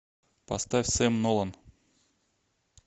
поставь сэм нолан